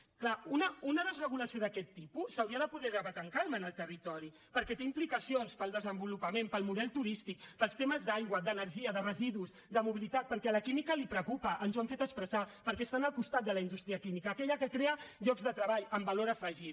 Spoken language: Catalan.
és clar una desregulació d’aquest tipus s’hauria de poder debatre amb calma en el territori perquè té implicacions per al desenvolupament per al model turístic per als temes d’aigua d’energia de residus de mobilitat perquè a la química li preocupa ens ho han fet expressar perquè estan al costat de la indústria química aquella que crea llocs de treball amb valor afegit